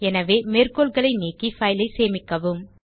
எனவே மேற்கோள்களை நீக்கி fileஐ சேமிக்கவும்